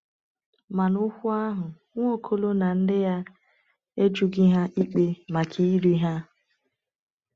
Ma n’okwu ahụ, Nwaokolo na ndị ya e jụghị ha ikpe maka iri ha.